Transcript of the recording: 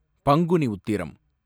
Panguni Uthiram